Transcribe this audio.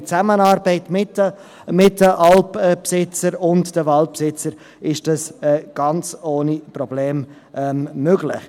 in Zusammenarbeit mit den Alpbesitzern und Waldbesitzern ist dies ganz ohne Probleme möglich.